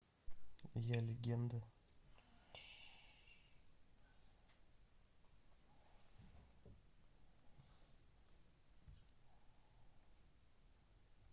я легенда